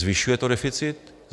Zvyšuje to deficit?